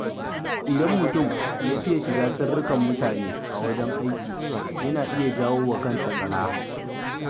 Idan mutum ya fiye shiga sirrikan mutane a wajen aiki, yana iya jawowa kansa tsana.